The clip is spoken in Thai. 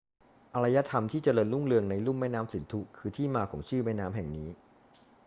อารยธรรมที่เจริญรุ่งเรืองในลุ่มแม่น้ำสินธุคือที่มาของชื่อแม่น้ำแห่งนี้